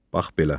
Bax belə.